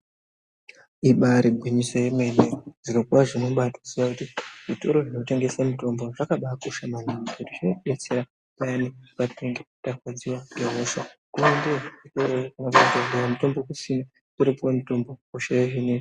Ibari gwinyiso remene zviro kwazvo unobaziya kuti zvitoro zvinotengesa mitombo zvakabakosha maningi ngekuti zvinodetsera payani patinenge tarwadziwa ngehosha. Unoendeyo chero ukasvika mutombo kusina uripo mutombo hosha yohinika.